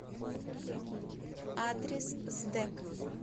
адрес сдэк